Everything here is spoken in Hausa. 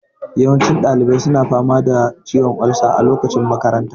Yawancin ɗalibai suna fama da ciwon olsa a lokacin makanta